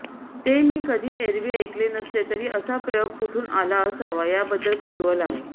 ते मी कधी एरवी ऐकले नसले तरी असा प्रयोग कुठून आला असावा याबद्दल कुतूहल आहे